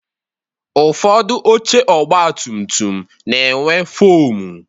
Ụfọdụ oche ọgba tum tum na-enwe foomu